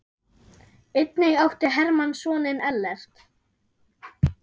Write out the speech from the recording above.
Einnig átti Hermann soninn Ellert.